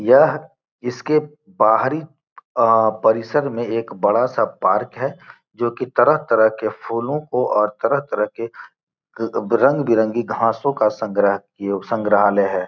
यह इसके बाहरी अ परिसर में एक बड़ा सा पार्क है जो की तरह-तरह के फूलों को और तरह-तरह के रंग-बिरंगी घासों का संग्रह किए संग्रहालय है।